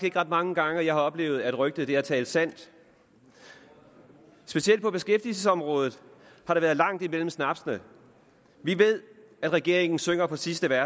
ikke ret mange gange jeg har oplevet at rygtet har talt sandt specielt på beskæftigelsesområdet har der været langt imellem snapsene vi ved at regeringen synger på sidste